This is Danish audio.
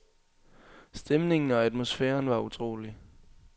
Stemningen og atmosfæren var utrolig.